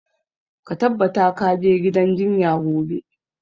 Ka tabbata ka je gidan jinya gobe!